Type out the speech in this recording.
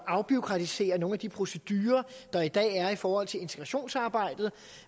afbureaukratisere nogle af de procedurer der i dag er i forhold til integrationsarbejdet